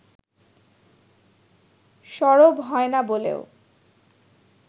সরব হয়না বলেও